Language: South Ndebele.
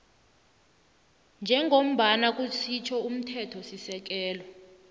njengoba kusitjho umthethosisekelo